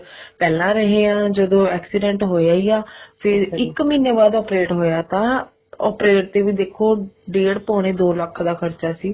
ਪਹਿਲਾਂ ਰਹੇ ਹਾਂ ਜਦੋਂ accident ਹੋਇਆ ਹੀ ਆ ਫ਼ੇਰ ਇੱਕ ਮਹੀਨੇ ਬਾਅਦ operate ਹੋਇਆ ਤਾਂ operate ਤੇ ਵੀ ਦੇਖੋ ਡੇਡ ਪੋਣੇ ਦੋ ਲੱਖ ਦਾ ਖਰਚਾ ਸੀ